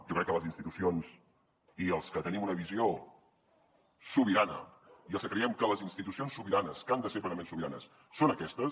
jo crec que les institucions i els que tenim una visió sobirana i els que creiem que les institucions sobiranes que han de ser plenament sobiranes són aquestes